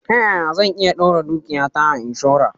Ta ya zan iya daura dukiyata a inshora?